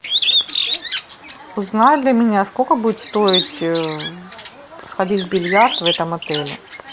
узнай для меня сколько будет стоить сходить в бильярд в этом отеле